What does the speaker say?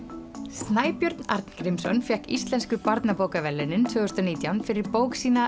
Snæbjörn Arngrímsson fékk Íslensku barnabókaverðlaunin tvö þúsund og nítján fyrir bók sína